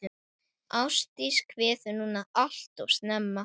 Ástdís kveður núna alltof snemma.